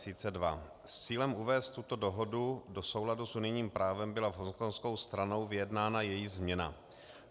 S cílem uvést tuto dohodu do souladu s unijním právem byla s hongkongskou stranou vyjednána její změna.